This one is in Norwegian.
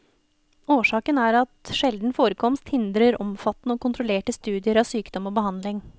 Årsaken er at sjelden forekomst hindrer omfattende og kontrollerte studier av sykdom og behandling.